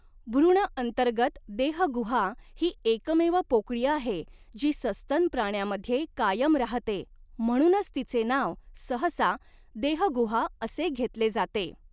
भ्रूण अंतर्गत देहगुहा ही एकमेव पोकळी आहे जी सस्तन प्राण्यामध्ये कायम राहते, म्हणूनच तिचे नाव सहसा 'देहगुहा' असे घेतले जाते.